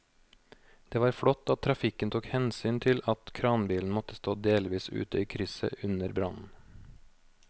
Det var flott at trafikken tok hensyn til at kranbilen måtte stå delvis ute i krysset under brannen.